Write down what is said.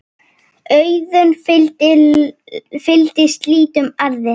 Auðna fylgir slíkum arði.